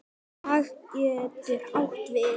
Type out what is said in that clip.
Dag getur átt við